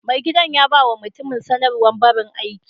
Mai gidan ya ba ma mutumin sanarwar barin aiki.